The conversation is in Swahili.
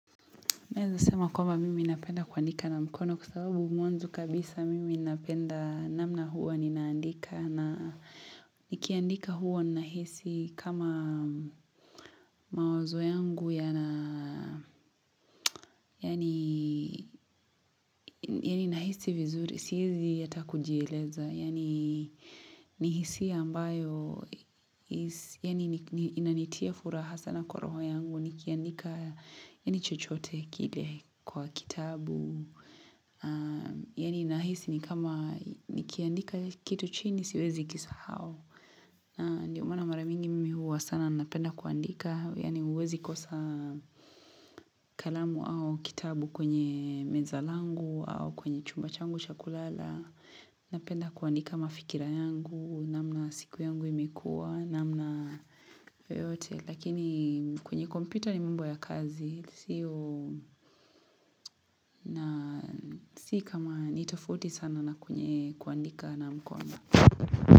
Naeza sema kwamba mimi napenda kuandika na mkono kwa sababu mwanzo kabisa mimi napenda namna huwa ninaandika na nikiandika huwa nahisi kama mawazo yangu yaani nahisi vizuri, siezi hata kujieleza. Yaani ni hisia ambayo inanitia furaha sana kwa roho yangu. Nikianika yaani chochote kile kwa kitabu. Yaani nahisi ni kama nikiandika kitu chini siwezi kisahau. Ndio mana mara mingi mimi huwa sana napenda kuandika. Yaani huwezi kosa kalamu au kitabu kwenye meza langu au kwenye chumba changu cha kulala. Napenda kuandika mafikira yangu, namna siku yangu imekuwa, namna yoyote. Lakini kwenye kompyuta ni mambo ya kazi sio na si kama ni tofauti sana na kwenye kuandika na mkono.